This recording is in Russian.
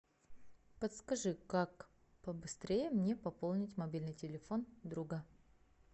подскажи как побыстрее мне пополнить мобильный телефон друга